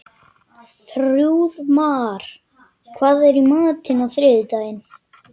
Þrúðmar, hvað er í matinn á þriðjudaginn?